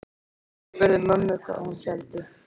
Ég spurði mömmu hvað hún héldi.